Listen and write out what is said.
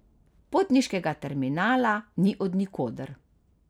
Potniškega terminala ni od nikoder.